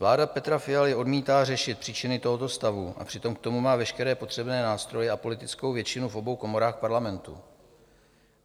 Vláda Petra Fialy odmítá řešit příčiny tohoto stavu, a přitom k tomu má veškeré potřebné nástroje a politickou většinu v obou komorách Parlamentu.